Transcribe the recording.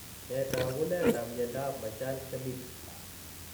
Nee taakuneta myondap Marshall Smith?